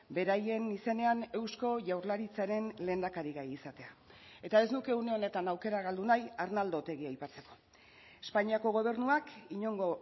beraien izenean eusko jaurlaritzaren lehendakari gai izatea eta ez nuke une honetan aukera galdu nahi arnaldo otegi aipatzeko espainiako gobernuak inongo